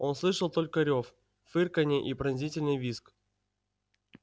он слышал только рёв фырканье и пронзительный визг